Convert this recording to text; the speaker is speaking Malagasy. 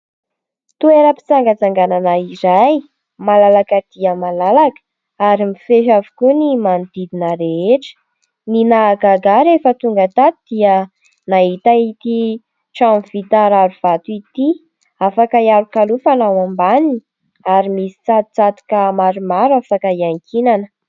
Toeram-pitsangatsanganana iray malalaka dia malalaka ary mifefy avokoa ny manodidina rehetra. Ny nahagaga ahy rehefa tonga tato dia nahita ity trano vita rarivato ity, afaka ialokalofana ao ambaniny ary misy tsatotsatoka maromaro afaka iankinana.